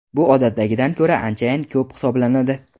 Bu odatdagidan ko‘ra anchayin ko‘p hisoblanadi.